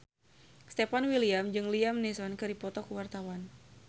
Stefan William jeung Liam Neeson keur dipoto ku wartawan